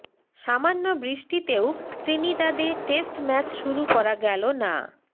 সামান্য বৃষ্টিতেও ত্রিনিদাদে টেস্ট ম্যাচ শুরু করা গেল না